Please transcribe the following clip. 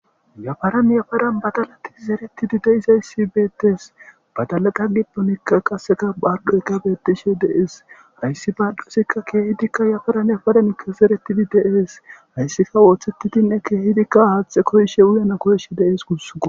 yafaran yafaran badalati zeretidi deizayssi beettes badalata gidonikka qasseka bargoyka bettishe de7es hayssi baaldusikka keehidikka yafaran yafaranikka zeretidi de7es hayssika wooththettidinne keehidikka haathe koyshe wuyena koyshe de7es guss